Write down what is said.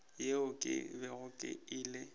yeo ke bego ke ile